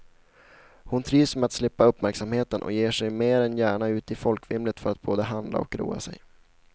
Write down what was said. Hon trivs med att slippa uppmärksamheten och ger sig mer än gärna ut i folkvimlet för att både handla och roa sig.